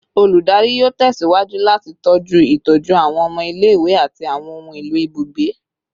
Oludari yoo tẹsiwaju lati tọju itọju awọn ọmọ ile-iwe ati awọn ohun elo ibugbe